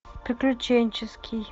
приключенческий